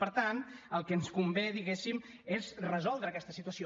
per tant el que ens convé diguéssim és resoldre aquesta situació